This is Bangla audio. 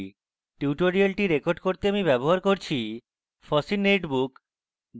tutorial record করতে আমি ব্যবহার করছি: